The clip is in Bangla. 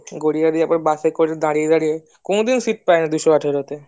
গড়িয়ে দিয়ে আবার বাসে করে দাঁড়িয়ে দাঁড়িয়ে কোনো দিনও Sit পাইনা দুশো আঠারোতে